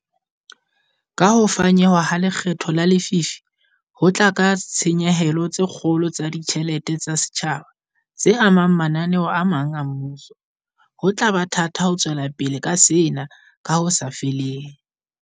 Kaha ho fanyehwa ha lekgetho la lefii ho tla ka ditshenyehelo tse kgolo tsa ditjhelete tsa setjhaba, tse amang mananeo a mang a mmuso, ho tla ba thata ho tswelapele ka sena ka ho sa feleng.